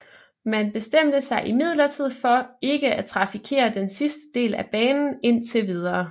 Man bestemte sig imidlertid for ikke at trafikere den sidste del af banen indtil videre